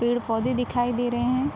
पेड़-पौधे दिखाई दे रहे हैं।